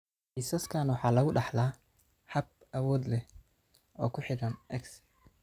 Kiisaskan waxa lagu dhaxlaa hab awood leh oo ku xidhan X.